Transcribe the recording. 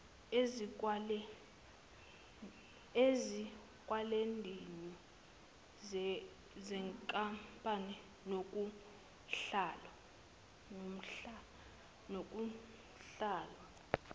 ezikwelendini zenkampani nakunhlalo